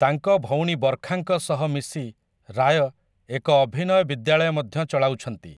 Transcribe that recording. ତାଙ୍କ ଭଉଣୀ ବର୍ଖାଙ୍କ ସହ ମିଶି ରାୟ ଏକ ଅଭିନୟ ବିଦ୍ୟାଳୟ ମଧ୍ୟ ଚଳାଉଛନ୍ତି ।